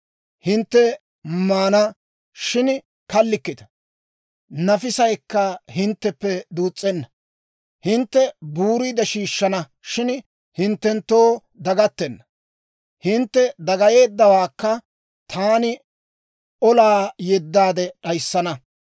Hintte maana, shin kallikkita; nafisaykka hintteppe duus's'enna. Hintte buuriide shiishshana, shin hinttenttoo dagattenna; hintte dagayeeddawaakka taani olaa yeddaade d'ayissana.